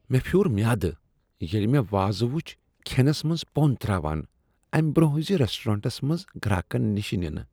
مےٚ پِھیوٗر میادٕ ییلِہ مےٚ وازٕ وُچھ کھینس منٛز پۄنٛد تراوان امہ برۄنہہ زِ ریسٹورینٹس منز گراکن نِشہ نِنہٕ ۔